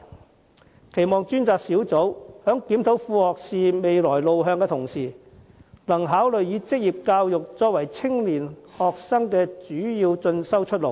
我期望專責小組在檢討副學士未來路向的同時，能考慮以職業教育作為青年學生的主要進修出路。